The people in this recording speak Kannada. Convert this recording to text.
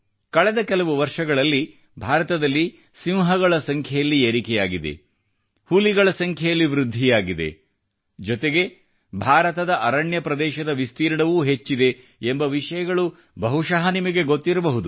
ಕಳೆದ ಕೆಲವು ವರ್ಷಗಳಲ್ಲಿ ಭಾರತದಲ್ಲಿ ಸಿಂಹಗಳ ಸಂಖ್ಯೆಯಲ್ಲಿ ಏರಿಕೆಯಾಗಿದೆ ಹುಲಿಗಳ ಸಂಖ್ಯೆಯಲ್ಲಿ ವೃದ್ಧಿಯಾಗಿದೆ ಜೊತೆಗೆ ಭಾರತದ ಅರಣ್ಯ ಪ್ರದೇಶದ ವಿಸ್ತೀರ್ಣವೂ ಹೆಚ್ಚಿದೆ ಎಂಬ ವಿಷಯಗಳು ಬಹುಶಃ ನಿಮಗೆ ಗೊತ್ತಿರಬಹುದು